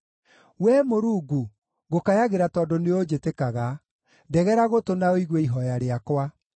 Wee Mũrungu, ngũkayagĩra tondũ nĩũnjĩtĩkaga; ndegera gũtũ na ũigue ihooya rĩakwa.